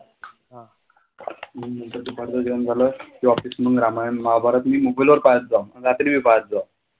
नंतर दुपारचं जेवण झालं की office मग रामायण, महाभारत मी mobile वर पाहायचो रात्री बी पाहायचो.